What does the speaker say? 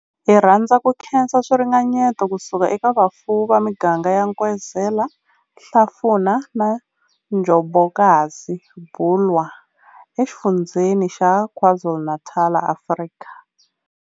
Hi rhandza ku khensa swiringanyeto ku suka eka vafuwi va miganga ya Nkwezela, Hlafuna na Njobokazi, Bulwer, eXifundzheni xa KwaZulu-Natal, Afrika.